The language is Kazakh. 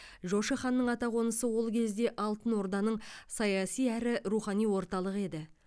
жошы ханның атақонысы ол кезде алтын орданың саяси әрі рухани орталығы еді